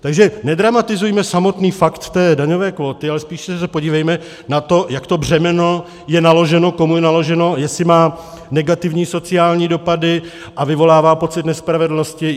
Takže nedramatizujme samotný fakt té daňové kvóty, ale spíše se podívejme na to, jak to břemeno je naloženo, komu je naloženo, jestli má negativní sociální dopady a vyvolává pocit nespravedlnosti.